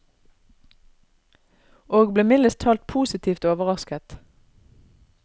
Og ble mildest talt positivt overrasket.